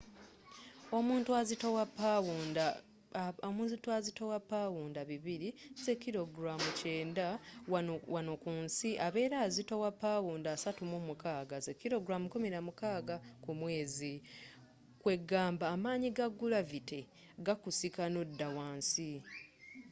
omuntu azitowa pawunda 200 90kg wano ku nsi abera azitowa pawunda 36 16kg ku mwezi. kwegamba amanyi aga gulavity gakusika nodda wansi